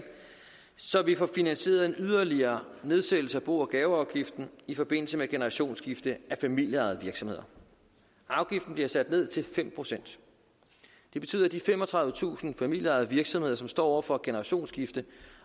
så vi får finansieret en yderligere nedsættelse af bo og gaveafgiften i forbindelse med generationsskifte af familieejede virksomheder afgiften bliver sat ned til fem procent det betyder at de femogtredivetusind familieejede virksomheder som står over for et generationsskifte